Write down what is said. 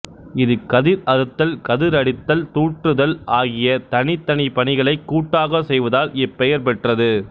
இது கதிர் அறுத்தல் கதிரடித்தல் தூற்றுதல் ஆகிய தனிதனி பணிகளைக் கூட்டாக செய்வதால் இப்பெயர்பெற்றது